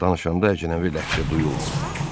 Danışanda əcnəbi ləhcə duyulmurdu.